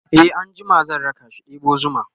e an jima zan rakashi ɗebo zuma